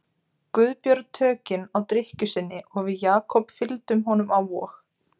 Guðbjörn tökin á drykkju sinni og við Jakob fylgdum honum á Vog.